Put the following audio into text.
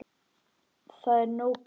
Það er nóg pláss.